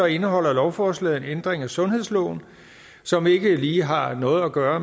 indeholder lovforslaget en ændring af sundhedsloven som ikke lige har noget at gøre